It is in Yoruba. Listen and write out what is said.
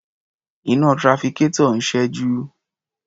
Iná trafficator ń ṣẹ́jú.